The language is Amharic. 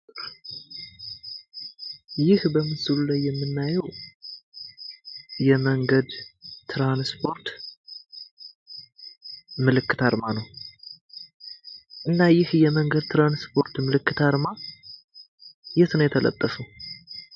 ይህ በምስሉ ላይ የምናየው የመንገድ ትራንስፖርት ምልክት አርማ ነው። እና ይህ የመንገድ ትራንስፖርት ምልክት አርማ የት ነው የተለጠፈው?